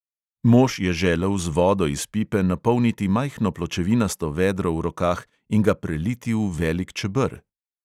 Mož je želel z vodo iz pipe napolniti majhno pločevinasto vedro v rokah in ga preliti v velik čeber.